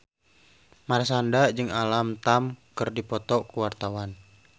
Marshanda jeung Alam Tam keur dipoto ku wartawan